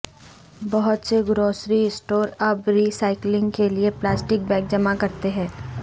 بہت سے grocery stores اب ری سائیکلنگ کے لئے پلاسٹک بیگ جمع کرتے ہیں